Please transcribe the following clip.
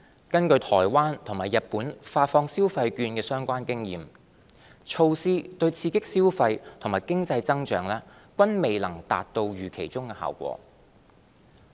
根據台灣和日本發放消費券的相關經驗，措施對刺激消費及經濟增長均未能達到預期中的效果。